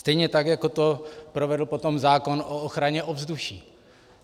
Stejně tak jako to provedl potom zákon o ochraně ovzduší.